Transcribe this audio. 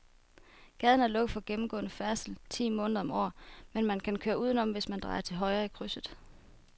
Gaden er lukket for gennemgående færdsel ti måneder om året, men man kan køre udenom, hvis man drejer til højre i krydset.